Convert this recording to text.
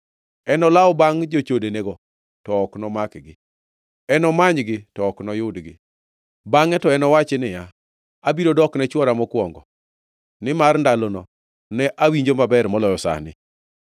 Enolaw bangʼ jochodenego to ok nomakgi; enomanygi to ok noyudgi. Bangʼe to enowachi niya, Abiro dokne chwora mokwongo, nimar ndalono ne awinjo maber moloyo sani.